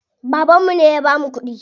Babanmu ne ya bamu kuɗi.